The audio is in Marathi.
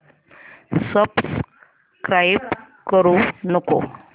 सबस्क्राईब करू नको